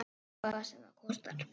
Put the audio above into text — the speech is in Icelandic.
Hvað sem það kostar.